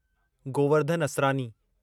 Govardhan Asrani